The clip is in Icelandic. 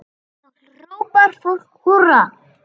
Þá hrópar fólk húrra.